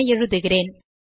என எழுதுகிறேன்